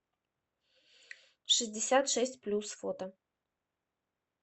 шестьдесят шесть плюс фото